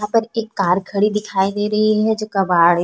यहाँ पर एक कार खड़ी दिखाई दे रही है जो कबाड़ हैं।